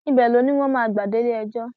ibẹ ló ní wọn máa gbà déléẹjọ